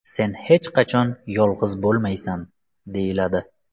Sen hech qachon yolg‘iz bo‘lmaysan”, deyiladi.